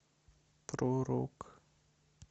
про рок